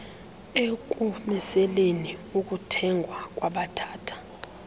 ekumiseleni ukuthengwa kwabathatha